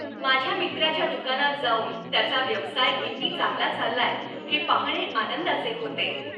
माझ्या मित्राच्या दुकानात जाऊन त्याचा व्यवसाय किती चांगला चाललाय हे पाहणे आनंदाचे होते.